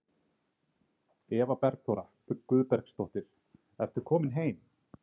Eva Bergþóra Guðbergsdóttir: Ertu komin heim?